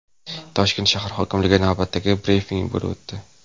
Toshkent shahar hokimligida navbatdagi brifing bo‘lib o‘tdi.